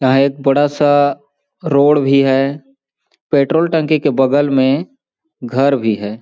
यहाँ एक बड़ा सा रोड भी है पेट्रोल टंकी के बगल में घर भी है।